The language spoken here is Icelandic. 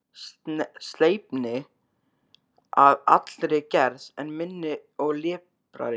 Sleipni að allri gerð, en minni og liprari.